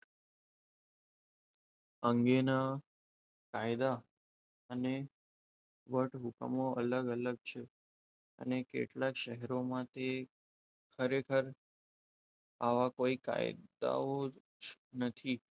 અંગેના કાયદા અને વટહુકમો અલગ અલગ છે અને કેટલાક શહેરો માટે ખરેખર આવા કોઈ કાયદાઓ જ નથી.